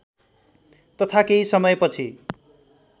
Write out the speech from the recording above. तथा केही समयपछि